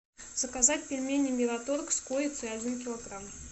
заказать пельмени мираторг с курицей один килограмм